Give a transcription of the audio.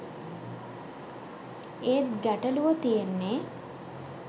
ඒත් ගැටළුව තියෙන්නේ